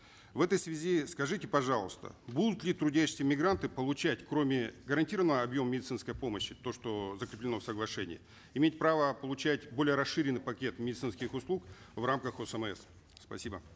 в этой связи скажите пожалуйста будут ли трудящиеся мигранты получать кроме гарантированного объема медицинской помощи то что закреплено в соглашении иметь право получать более расширенный пакет медицинских услуг в рамках осмс спасибо